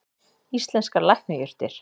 Íslenskar lækningajurtir.